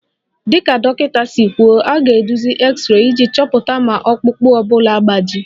Dịka dọkịta si kwuo, a ga-eduzi x-ray iji chọpụta ma ọkpụkpụ ọ bụla agbaji